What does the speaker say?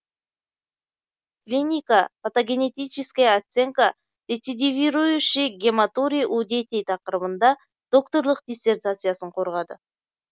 клинико патогенетическая оценка рецидивирующей гематурии у детей тақырыбында докторлық диссертациясын қорғады